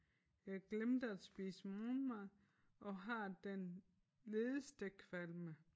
Jeg glemte at spise morgenmad og har den ledeste kvalme